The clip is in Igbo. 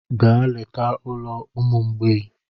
Gaa leta ụlọ ụmụ mgbei!